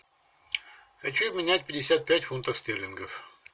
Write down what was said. хочу обменять пятьдесят пять фунтов стерлингов